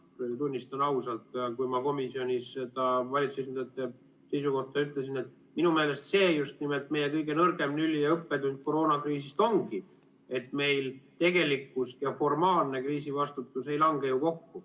Tunnistan ausalt, kui ma komisjonis seda valitsuse esindajate seisukohta kuulsin, minu meelest see just nimelt meie kõige nõrgem lüli ja õppetund koroonakriisist ongi, et meil tegelikkus ja formaalne kriisivastutus ei lange kokku.